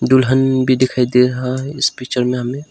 दुल्हन भी दिखाई दे रहा है इस पिक्चर में हमें।